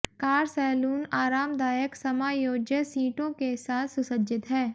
car saloon आरामदायक समायोज्य सीटों के साथ सुसज्जित है